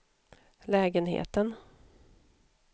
lägenheten